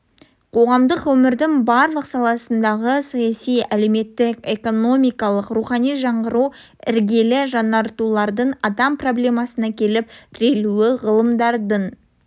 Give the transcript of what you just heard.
қоғамдық өмірдің барлық саласындағы саяси әлеуметтік экономикалық рухани жаңғыру іргелі жаңартулардың адам проблемасына келіп тірелуі ғылымдардың